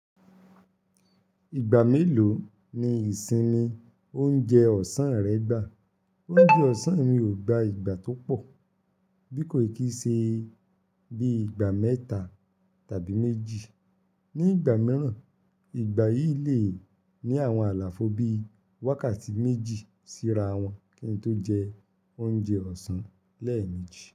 Ìgbà mélòó ni ìsinmi oúnjẹ ọ̀sán rẹ gbà? Ounjẹ́ ọ̀sán mi ò gba ìgbà tó pọ̀, bí kò ì kí ṣe bíi ìgbà mẹ́ta tàbí méjì. Ní ìgbà mìíràn, ìgbà yìí lè ní àwọn àlàfo bíi wákàtí méjì síra wọn kí n tó jẹ oúnjẹ ọ̀sán lẹ́ẹ̀meji.